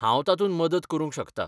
हांव तातूंत मदत करूंक शकता.